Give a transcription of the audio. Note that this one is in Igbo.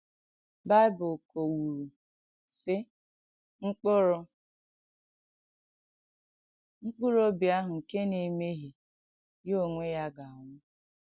Bị̀bụ̀l̀ kọ̀wùrù, sị̀: “Mkpùrù “Mkpùrù òbì àhụ nkè nà-èmèhiè, ya ònwè ya gà-ànwụ̀.”